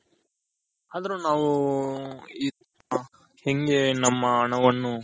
ಆದರು ನಾವು ನಮ್ಮ ಈ ನಮ್ನ